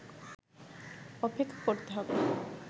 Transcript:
অপেক্ষা করতে হবে